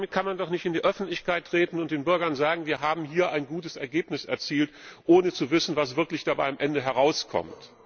Damit kann man doch nicht an die Öffentlichkeit treten und den Bürgern sagen, wir haben hier ein gutes Ergebnis erzielt, ohne zu wissen, was wirklich dabei am Ende herauskommt!